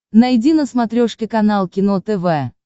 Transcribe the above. найди на смотрешке канал кино тв